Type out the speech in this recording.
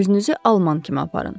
Özünüzü alman kimi aparın.